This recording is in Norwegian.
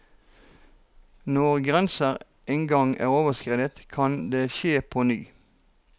Når grenser en gang er overskredet, kan det skje på ny.